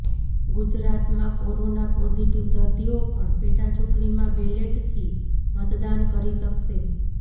ગુજરાતમાં corona positive દર્દીઓ પણ પેટાચૂંટણીમાં બેલેટથી મતદાન કરી શકશે